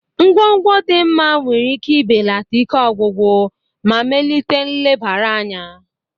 Ngwongwo dị mma nwere ike ibelata ike ọgwụgwụ ma melite nlebara anya.